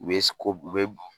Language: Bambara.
U be si ko, u be